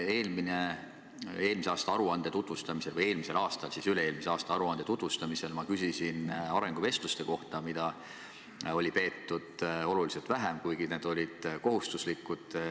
Eelmisel aruande tutvustamisel, eelmisel aastal siis üle-eelmise aasta aruande tutvustamisel ma küsisin arenguvestluste kohta, mida oli peetud oluliselt vähem, kuigi need on kohustuslikud.